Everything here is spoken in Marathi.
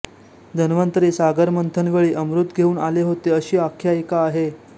धन्वंतरी सागरमंथन वेळी अमृत घेऊन आले होते अशी आख्यायिका आहे